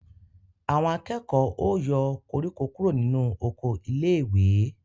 Àwọn akẹ́kọ̀ọ́ ó yọ koríko kúrò nínú oko iléèwé